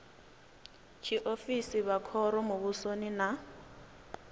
tshiofisi vha khoro muvhusoni na